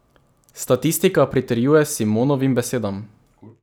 Statistika pritrjuje Simonovim besedam.